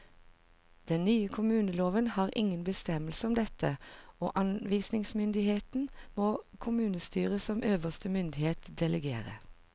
Den nye kommuneloven har ingen bestemmelser om dette, og anvisningsmyndigheten må kommunestyret som øverste myndighet delegere.